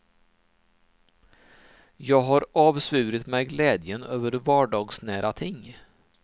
Jag har avsvurit mig glädjen över vardagsnära ting.